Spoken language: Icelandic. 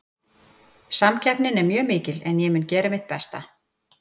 Samkeppnin er mjög mikil en ég mun gera mitt besta.